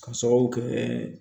K'a sababu kɛ